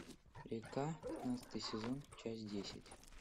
река пятнадцатый сезон часть десять